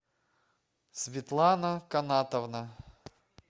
светлана канатовна